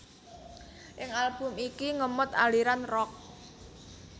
Ing Album iki ngemot aliran rock